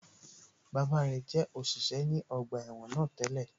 Bàbá rẹ̀ jẹ́ òṣìṣẹ́ ní ọgbà ẹ̀wọ̀n náà tẹ́lẹ̀